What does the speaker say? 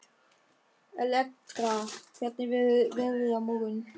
Elektra, hvernig verður veðrið á morgun?